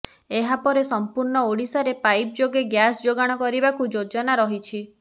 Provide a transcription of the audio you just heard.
ଏହା ପରେ ସଂପୂର୍ଣ ଓଡିଶାରେ ପାଇପ ଯୋଗେ ଗ୍ୟାସ ଯୋଗାଣ କରିବାକୁ ଯୋଜନା ରହିଛି